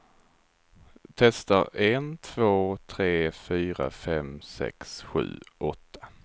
Testar en två tre fyra fem sex sju åtta.